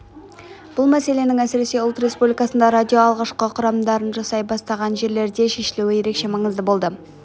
бұл мәселенің әсіресе ұлт республикаларында радио алғашқы қадамдарын жасай бастаған жерлерде шешілуі ерекше маңызды болды